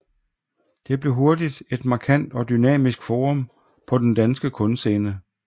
Det blev hurtigt et markant og dynamisk forum på den danske kunstscene